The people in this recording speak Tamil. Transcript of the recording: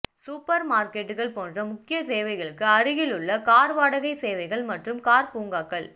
சூப்பர் மார்க்கெட்டுகள் போன்ற முக்கிய சேவைகளுக்கு அருகிலுள்ள கார் வாடகை சேவைகள் மற்றும் கார் பூங்காக்கள்